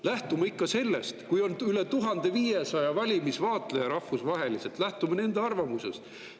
Lähtume ikka sellest, et kui on rahvusvaheliselt üle 1500 valimiste vaatleja, siis lähtume nende arvamusest.